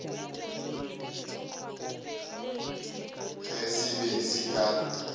ge se be se ka